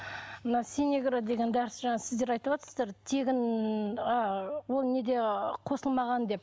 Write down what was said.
мына синегра деген дәрісі жаңа сіздер айтыватсыздар тегін ыыы ол неде қосылмаған деп